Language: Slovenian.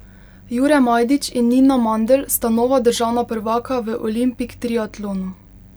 Jure Majdič in Nina Mandl sta nova državna prvaka v olimpik triatlonu.